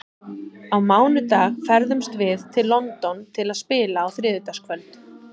Á mánudag ferðumst við til London til að spila á þriðjudagskvöld.